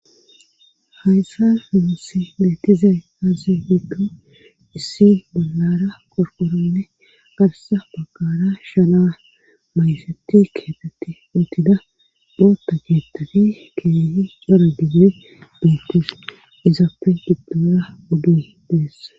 Hayssa imisi leetizay aazi hiddo issi balara qorqoranne garsa baggara shana maysetti keetetti utida boota geettani keeyi dora gigme beittis izaappe giddora udi deessa.